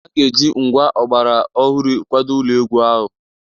A ga-eji ngwa ọgbara ọhụrụ kwado ụlọ egwu ahụ.